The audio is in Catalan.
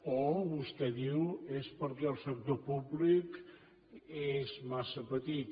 o vostè diu és perquè el sector públic és massa petit